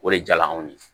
O de jala anw ye